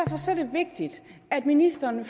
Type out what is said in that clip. vigtigt at ministeren